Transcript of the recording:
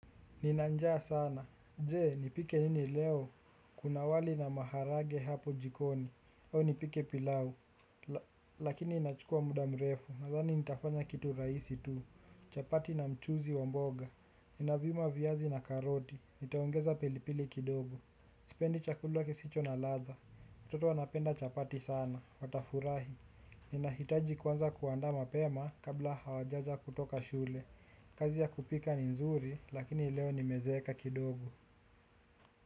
Nina njaa sana. Jee, nipike nini leo? Kuna wali na maharage hapo jikoni. Au nipike pilau. Lakini inachukua muda mrefu. Nadhani nitafanya kitu raisi tu. Chapati na mchuzi wa mboga. Ninapima a viazi na karoti. Nitaongeza pilipili kidogo. Sipendi chakula kisicho na ladha, watoto wanapenda chapati sana, watafurahi. Ninahitaji kuanza kuandaa mapema kabla hawajaja kutoka shule. Kazi ya kupika ni nzuri, lakini leo nimezeeka.